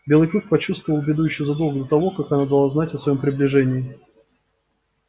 белый клык почувствовал беду ещё задолго до того как она дала знать о своём приближении